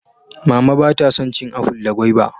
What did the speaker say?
Mama ba ta san cin aful da gwaiba